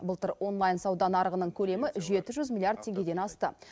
былтыр онлайн сауда нарығының көлемі жеті жүз миллиард теңгеден асты